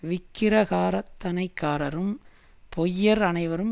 விக்கிரகாராதனைக்காரரும் பொய்யர் அனைவரும்